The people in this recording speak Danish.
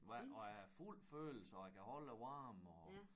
Hvad og der er fuld følelse og jeg kan holde æ varme og